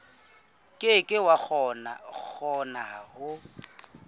ke ke wa kgona ho